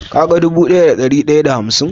Ka gani dubu daya da dari daya da hamsin?